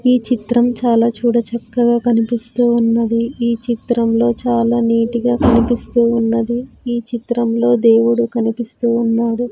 ఈ చిత్రం చాలా చూడ చక్కగా కనిపిస్తూ ఉన్నది ఈ చిత్రంలో చాలా నీట్ గా కనిపిస్తూ ఉన్నది ఈ చిత్రంలో దేవుడు కనిపిస్తూ ఉన్నాడు.